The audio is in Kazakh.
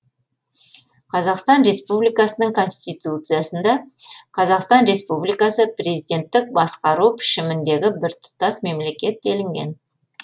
қазақстан республикасының конституциясында қазақстан республикасы президенттік басқару пішіміндегі біртұтас мемлекет делінген